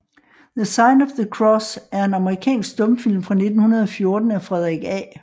The Sign of the Cross er en amerikansk stumfilm fra 1914 af Frederick A